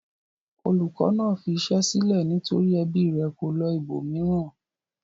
Olùkọ́ náà fi iṣẹ́ sílẹ̀ nítorí ẹbí rẹ̀ kó lọ ibòmíràn.